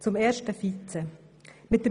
Zum ersten Vizepräsidium.